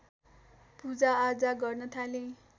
पूजाआजा गर्न थाले